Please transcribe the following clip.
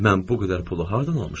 Mən bu qədər pulu hardan almışam?